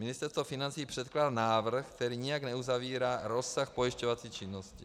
Ministerstvo financí předkládá návrh, který nijak neuzavírá rozsah pojišťovací činnosti.